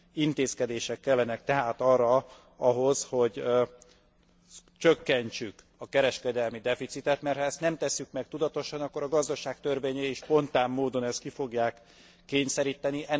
Intézkedések kellenek tehát ahhoz, hogy csökkentsük a kereskedelmi deficitet, mert ha ezt nem tesszük meg tudatosan, akkor a gazdaság törvényei spontán módon ezt ki fogják kényszeríteni.